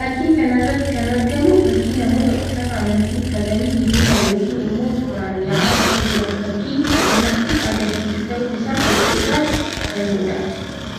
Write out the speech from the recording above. Fakkii kana irratti kan argamu fakkii namoota uffata amantii uffatanii hiriiraan yookiin immoo tooraan ya'aa akka jiran fakkii namatti agarsiisu tahuu isaa fakkii irraa hubannuu dha.